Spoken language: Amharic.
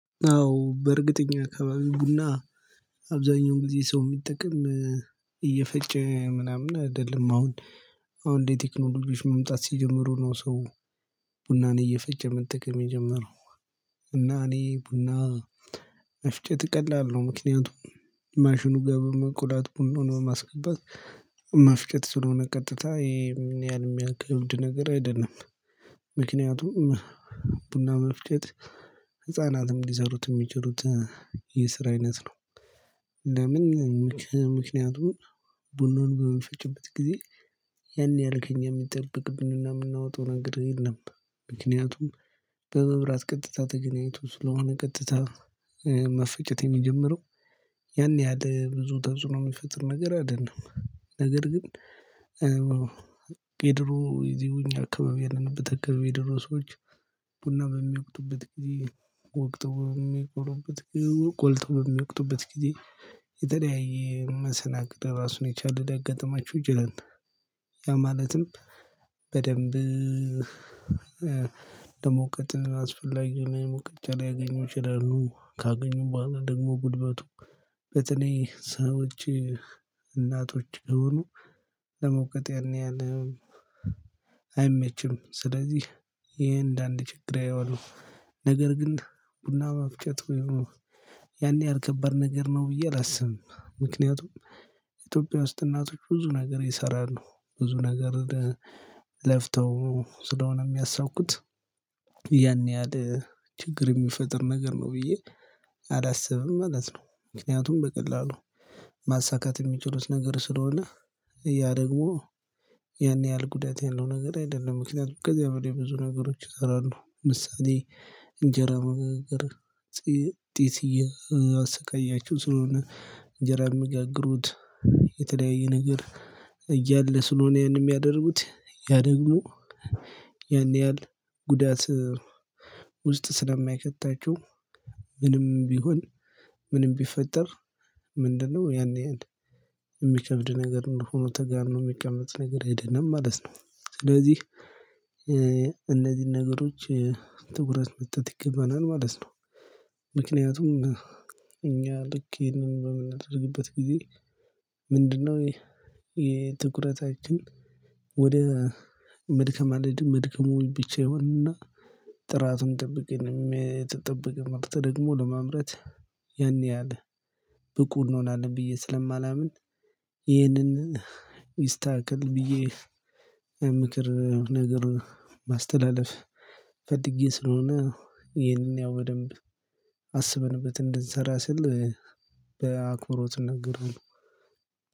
አዎ በእርግጥ እኛ አከባቢ ቡና አብዛኛው ጊዜ ሰው የሚጠቀም እየፈጨ ምናምን አይደለም አሁን አሁን ላይ ቴክኖሎጂዎች መምጣት ሲጀምሩ ነው። ሰው ቡናን እየፈጨ መጠቀም የጀመረው እና እኔ ቡና መፍጨት ቀላል ነው። ምክንያቱም ማሽኑ ጋር በመቁላት ቡናውን በማስገባት መፍጨት ስለሆነ ቀጥታ ይሄም ያን ያህል የሚያከብድ ነገር አይደለም። ምክንያቱም ቡና መፍጨት ህፃናትም ሊሰሩት የሚችሉት የስራ አይነት ነው። ለምን ምክንያቱም ቡናውን በሚፈጭበት ጊዜ ያን ያህል ከእኛ የሚጠበቅብንና የምናወጣው ነገር የለም። ምክንያቱም በመብራት ቀጥታ ተገናኝቶ ስለሆነ ቀጥታ መፈጨት የሚጀምረው ያን ያህል ብዙ ተፅህኖ የሚፈጥር ነገር አይደለም። ነገር ግን የድሮ እዚህ እኛው አካባቢ ያለንበት አካባቢ የድሮ ሰዎች ቡና በሚወቅጡበት ጊዜ ወቅጠው በሚቆሉበት ጊ ቆልተው በሚወቅጡበት ጊዜ የተለያየ መሰናክል ራሱን የቻለ ሊያጋጥማቸው ይችላል። ያ ማለትም በደንብ ለመውቀጥ አስፈላጊ የሆነ ሞቀጫ ሊያገኙ ይችላሉ ካገኙም በኋላ ደግሞ ጉልበቱ በተለይ ሰዎች እናቶች የሆኑ ለመውቀጥ ያን ያህል አይመችም። ስለዚህ ይሄ እንደ አንድ ችግር ያየዋሉ ነገር ግን ቡና መፍጨት ያን ያክል ከባድ ነገር ነው ብዬ አላስብም። ምክንያቱም ኢትዮጵያ ውስጥ እናቶች ብዙ ነገር ይሰራሉ ብዙ ነገር ለፍተው ስለሆነ የሚያሳኩት ያን ያህል ችግር የሚፈጥር ነገር ነው ብዬ አላስብም ማለት ነው። ምክንያቱም በቀላሉ ማሳካት የሚችሉት ነገር ስለሆነ ያ ደግሞ ያን ያህል ጉዳት ያለው ነገር አይደለም። ምክንያቱም ከዚያ በላይ ብዙ ነገሮች ይሰራሉ ምሳሌ እንጀራ መጋገር ጢስ እያሰቃያቸው ስለሆነ እንጀራ የሚጋግሩት የተለያየ ነገር እያለ ስለሆነ ያንን የሚያደርጉት ያ ደግሞ ያን ያህል ጉዳት ውስጥ ስለሚያከታቸው ምንም ቢሆን ምንም ቢፈጠር ምንድነው ያን ያህል የሚከብድ ነገር እንደሆነ ተጋኖ የሚቀመጥ ነገር አይደለም ማለት ነው። ስለዚህ እነዚህን ነገሮች ትኩረት መስጠት ይገባናል ማለት ነው። ምክንያቱም እኛ ልክ ይሄንን በምናደርግበት ጊዜ ምንድነው? የትኩረታችን ወደ መድከም አለ መድከሙ ብቻ ይሆንና ጥራቱን ጠብቄ የተጠበቀ ምርት ደግሞ ለማምረት ያን ያህል ብቁ እንሆናለን። ብዬ ስለማላምን ይህንን ይስተካከል ብዬ ምክር ነገር ማስተላለፍ ፈልጌ ስለሆነ ይሄንን ያው በደንብ አስበንበት እንድንሰራ ስል በአክብሮት እናገራለሁ።